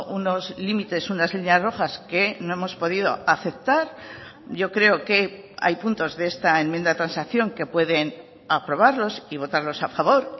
unos límites unas líneas rojas que no hemos podido aceptar yo creo que hay puntos de esta enmienda de transacción que pueden aprobarlos y votarlos a favor